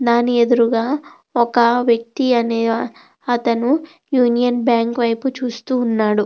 దాని ఎదురుగా ఒక వ్యక్తి అనే అతను యూనియన్ బ్యాంక్ వైపు చూస్తూ ఉన్నాడు.